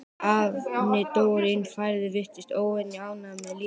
Afinn dró inn færið og virtist óvenju ánægður með lífið.